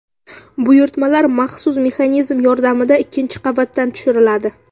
Buyurtmalar maxsus mexanizm yordamida ikkinchi qavatdan tushiriladi.